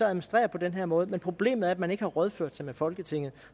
administrere på den her måde men problemet er at man ikke har rådført sig med folketinget